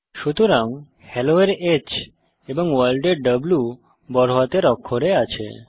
সুতরাং হেলো এর H এবং ভোর্ল্ড এর W বড়হাতের অক্ষরে আছে